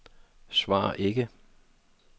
svar ikke